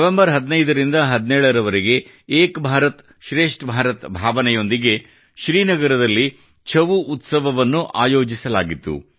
November 15 ರಿಂದ 17 ರವರೆಗೆ ಏಕ ಭಾರತ್ ಶ್ರೇಷ್ಠ ಭಾರತ್ ಭಾವನೆಯೊಂದಿಗೆ ಶ್ರೀನಗರದಲ್ಲಿ ಛವು ಉತ್ಸವವನ್ನು ಆಯೋಜಿಸಲಾಗಿತ್ತು